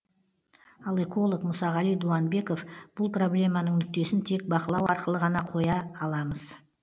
ал эколог мұсағали дуанбеков бұл проблеманың нүктесін тек бақылау арқылы ғана қоя аламыз